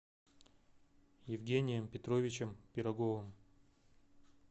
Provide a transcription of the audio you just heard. евгением петровичем пироговым